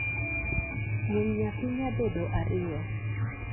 nying nyathi nyabedo ario